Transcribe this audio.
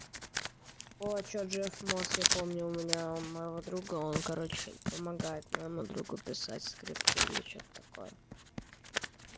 джефф монсон я помню у меня моего друга он короче помогает моему другу писать скрипты или что-то такое